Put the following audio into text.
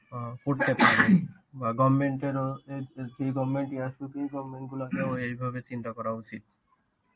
অ্যাঁ করতে পারি বা goverment এরও এর যে goverment ই আসুক, goverment গুলোকেও এইভাবে চিন্তা করা উচিত.